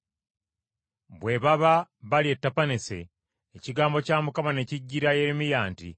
Bwe baba bali e Tapaneese, ekigambo kya Mukama ne kijjira Yeremiya nti,